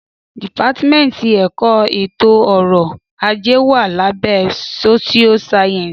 Dípàtímẹtì ẹkọ ẹto ọrọ àjé wà làbẹ sósìó sàyẹnsí.